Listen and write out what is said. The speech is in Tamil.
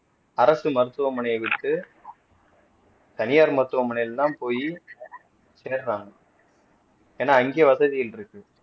அரசு மருத்துவமனையை விட்டு தனியார் மருத்துவமனையில் தான் போயி சேறாங்க ஏன்னா அங்கே வசதிகள் இருக்கு